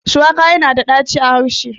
Shuwaka yana da ɗaci a harce